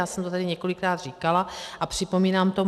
Já jsem to tady několikrát říkala a připomínám to.